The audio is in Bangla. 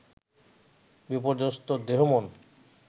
বিপর্যস্ত দেহমন